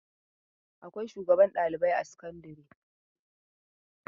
Akwai shugaban ɗalibai a sakandare.